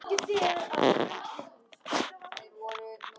Ekki þegar að er gáð.